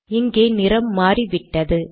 இங்கே நிறம் மாறிவிட்டது